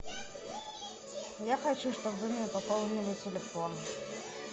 я хочу чтобы вы мне пополнили телефон